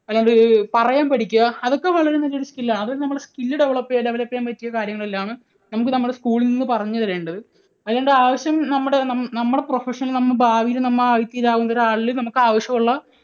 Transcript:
അല്ലാണ്ട് പറയാൻ പഠിക്കുക അതൊക്കെ വളരെ നല്ല ഒരു skill ആണ്. അതൊക്കെ നമ്മൾ skill develop, develop ചെയ്യാൻ പറ്റിയ കാര്യങ്ങളെല്ലാം ആണ് നമുക്ക് നമ്മുടെ school ൽ നിന്ന് പറഞ്ഞു തരേണ്ടത്. അല്ലാണ്ട് ആവശ്യം നമ്മുടെ, നമ്മുടെ profession ൽ നമ്മുടെ ഭാവിയിൽ നമ്മൾ ആയിത്തീരാവുന്ന ഒരാളിന് നമുക്ക് ആവശ്യമുള്ള